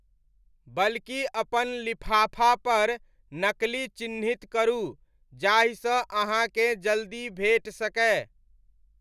बल्कि अपन लिफाफापर 'नकली ' चिन्हित करू जाहिसँ अहाँके जल्दी भेटि सकय।